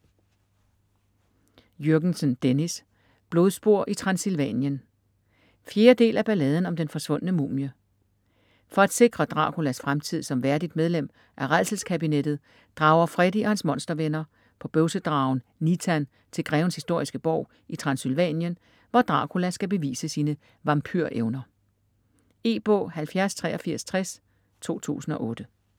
Jürgensen, Dennis: Blodspor i Transsylvanien 4. del af Balladen om den forsvundne mumie. For at sikre Draculas fremtid som værdigt medlem af Rædselskabinettet drager Freddy og hans monstervenner på bøvsedragen Nitan til grevens historiske borg i Transsylvanien, hvor Dracula skal bevise sine vampyr-evner. E-bog 708360 2008.